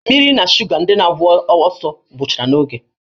Mmiri na shuga ndị na-agba ọsọ gwụchara n'oge